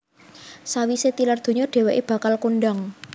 Sawisé tilar donya dhèwèké bakal kondhang